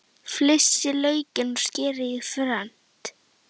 Flysjið laukinn og skerið í fernt.